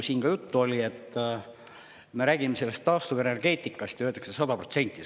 Siin oli juttu sellest, et me räägime taastuvenergeetikast ja öeldakse 100%.